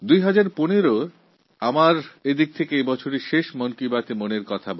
২০১৫এর এটা আমার শেষ মন কি বাত অনুষ্ঠান